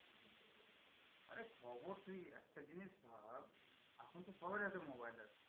আরে খবর, তুই একটা জিনিস ভাব এখন তো সবাইয়ের হাতে mobile আছে?